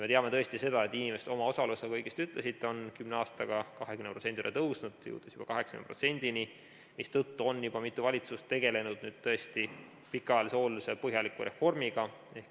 Me teame tõesti seda, et inimeste omaosalus, nagu te õigesti ütlesite, on kümne aastaga 20% tõusnud, jõudes juba 80%-ni, mistõttu on mitu valitsust tegelenud pikaajalise hoolduse põhjaliku reformiga.